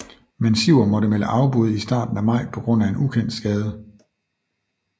Men Siver måtte melde afbud i starten af maj på grund af en ukendt skade